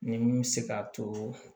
Ni mun bɛ se k'a to